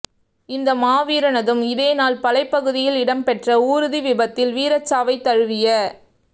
இந்த மாவீரரினதும் இதேநாள் பளைப் பகுதியில் இடம்பெற்ற ஊர்தி விபத்தில் வீரச்சாவைத் தழுவிய